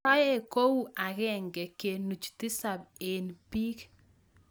Toek kou agenge kenuch tisap eng piik